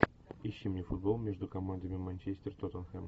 ищи мне футбол между командами манчестер тоттенхэм